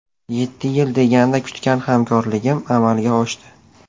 Yetti yil deganda kutgan hamkorligim amalga oshdi.